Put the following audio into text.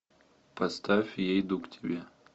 поставь я иду к тебе